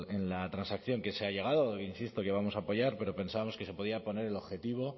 en la transacción que se ha llegado insisto que vamos a apoyar pero pensábamos que se podía poner el objetivo